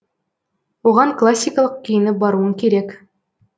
оған классикалық киініп баруың керек